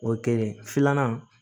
O ye kelen filanan